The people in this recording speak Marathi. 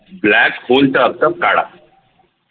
blackhole चा अर्थ काळा